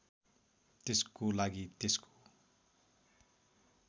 त्यसको लागि त्यसको